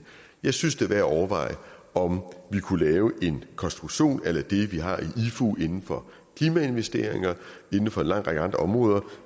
jeg synes det er værd at overveje om vi kunne lave en konstruktion a la det vi har i ifu inden for klimainvesteringer og inden for en lang række andre områder